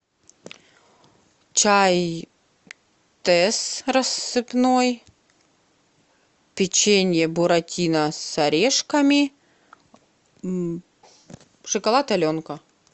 чай тесс рассыпной печенье буратино с орешками шоколад аленка